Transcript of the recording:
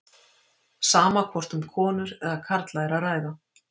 Sama hvort um konur eða karla er að ræða.